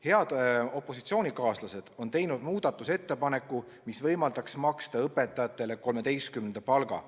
Head opositsioonikaaslased on teinud muudatusettepaneku, mis võimaldaks maksta õpetajatele 13. palga.